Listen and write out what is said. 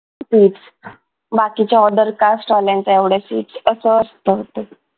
बाकीच्या other cast वाल्यांच्या एवढ्या fees अस असत ते